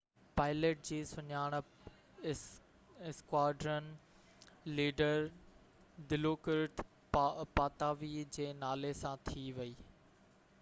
pilot جي سڃاڻپ squadron leader دلوڪرت پاتاوي جي نالي سان ٿي هئي